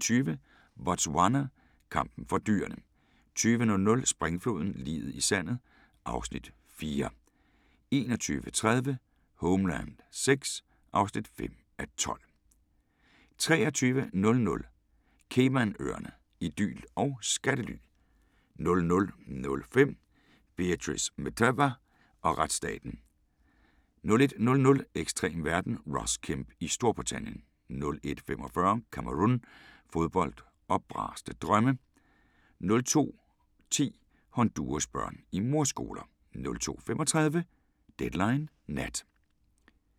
19:20: Botswana: Kampen for dyrene 20:00: Springfloden – liget i sandet (Afs. 4) 21:30: Homeland VI (5:12) 23:00: Caymanøerne – idyl og skattely 00:05: Beatrice Mtetwa og retsstaten 01:00: Ekstrem verden – Ross Kemp i Storbritannien 01:45: Cameroun – fodbold og braste drømme 02:10: Honduras børn i mordskoler 02:35: Deadline Nat